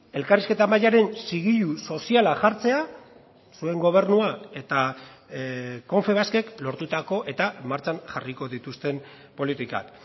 elkarrizketa mahaiaren zigilu soziala jartzea zuen gobernua eta confebaskek lortutako eta martxan jarriko dituzten politikak